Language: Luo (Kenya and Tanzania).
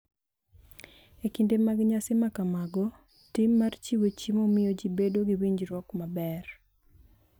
E kinde mag nyasi ma kamago, tim mar chiwo chiemo miyo ji bedo gi winjruok maber,